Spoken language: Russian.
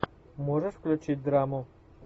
можешь включить драму